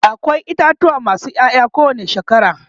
akwai itatuwa masu Yaya ko wani shekara